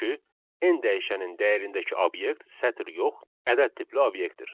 Çünki n dəyişəninin dəyərindəki obyekt sətir yox, ədəd tipli obyektdir.